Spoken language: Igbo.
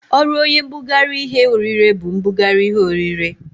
Ọrụ oye mbụgarị ihe orire bu ibụgarị ihe orire.